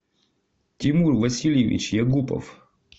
тимур васильевич ягупов